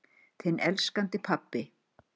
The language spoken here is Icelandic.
Þinn elskandi pabbi.